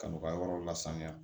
Ka n'u ka yɔrɔ lasaniya